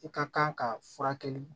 I ka kan ka furakɛli